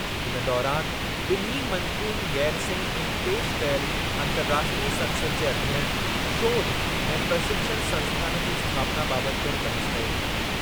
इन दौरानि ॿिन्ही मंत्रियुनि गैरसैंण में पेशि कयल अंतरराष्ट्रीयु संसद जे अध्ययन, शोध ऐं प्रशिक्षण संस्थानु जी स्थापना बाबति पिणु बहसु कयो।